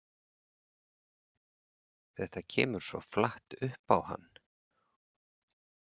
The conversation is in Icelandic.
Þetta kemur svo flatt upp á hann.